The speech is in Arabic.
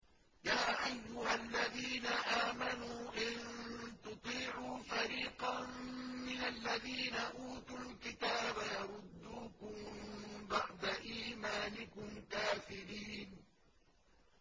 يَا أَيُّهَا الَّذِينَ آمَنُوا إِن تُطِيعُوا فَرِيقًا مِّنَ الَّذِينَ أُوتُوا الْكِتَابَ يَرُدُّوكُم بَعْدَ إِيمَانِكُمْ كَافِرِينَ